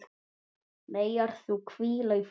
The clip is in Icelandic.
Megir þú hvíla í friði.